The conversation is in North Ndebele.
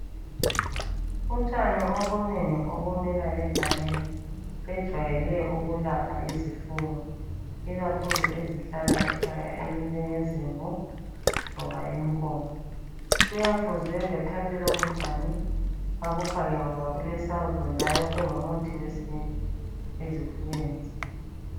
Utshani obunengi obumila egangeni bejwayele ukulapha izifuyo ikakhulu ezihlala ekhaya ezinjenge zimvu loba inkomo. Kuyafuze bethathe lobu tshani bebufake ngoba bulesawudo njalo kungumuthi wesintu ezifuweni zethu.